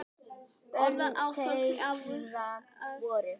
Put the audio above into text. Orðin hafa öfug áhrif.